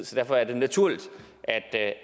så derfor er det naturligt at jeg